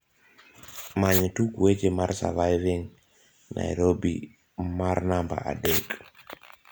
many tuk weche mar surviving nairobi mar namba adek